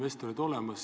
Austatud minister!